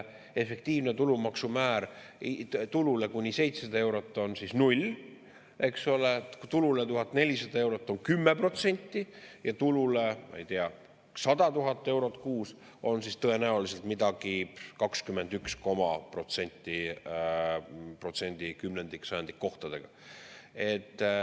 Efektiivne tulumaksumäär tulule kuni 700 eurot on 0, eks ole, tulule 1400 eurot on 10% ja tulule, ma ei tea, 100 000 eurot kuus on siis tõenäoliselt midagi 21,… protsenti kümnendik‑ ja sajandikkohtadega.